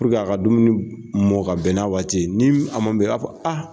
a ka dumuni mɔn ka bɛn na waati ye, ni a ma bɛn a b'a fɔ a.